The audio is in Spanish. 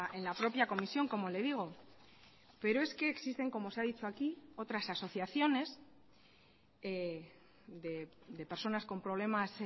en la propia comisión como le digo pero es que existen como se ha dicho aquí otras asociaciones de personas con problemas